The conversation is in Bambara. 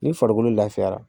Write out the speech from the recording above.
Ni farikolo lafiyara